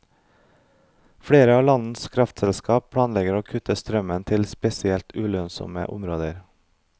Flere av landets kraftselskap planlegger å kutte strømmen til spesielt ulønnsomme områder.